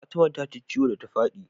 Fatima ta ji ciwo da ta fadi